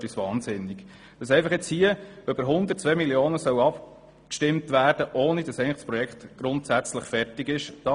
Wir stören uns wahnsinnig daran, dass hier über 100 Mio. Franken abgestimmt werden soll, ohne dass das Projekt grundsätzlich fertig ist.